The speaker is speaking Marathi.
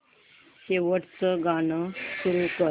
शेवटचं गाणं सुरू कर